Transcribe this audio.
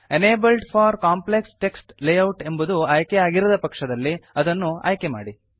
enabled for complex text layout ಎಂಬುದು ಆಯ್ಕೆಯಾಗಿರದ ಪಕ್ಷದಲ್ಲಿ ಅದನ್ನು ಆಯ್ಕೆ ಮಾಡಿ